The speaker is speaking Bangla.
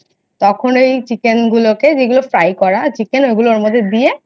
তখন এই chicken গুলোকে যেই গুলো Fry করার Chicken ওই গুলো মধ্যে দিয়ে